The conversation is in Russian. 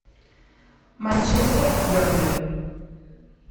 манчестер бернли